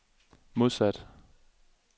modsat